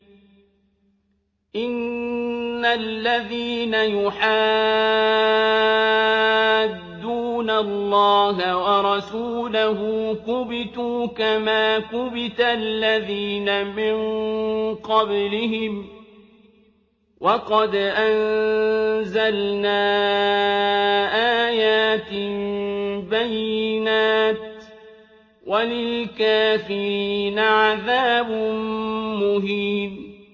إِنَّ الَّذِينَ يُحَادُّونَ اللَّهَ وَرَسُولَهُ كُبِتُوا كَمَا كُبِتَ الَّذِينَ مِن قَبْلِهِمْ ۚ وَقَدْ أَنزَلْنَا آيَاتٍ بَيِّنَاتٍ ۚ وَلِلْكَافِرِينَ عَذَابٌ مُّهِينٌ